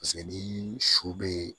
Paseke ni su bee